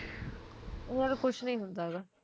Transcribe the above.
ਉਹ ਯਾਰ ਕੁਸ਼ ਨੀ ਹੁੰਦਾ ਗਾ